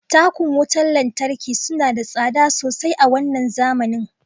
Takun wutar lantarki suna da tsada sosai a wannan zamanin